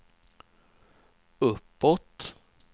uppåt